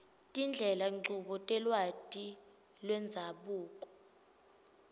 tindlelanchubo telwati lwendzabuko